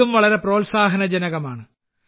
ഇതും വളരെ പ്രോത്സാഹനജനകമാണ്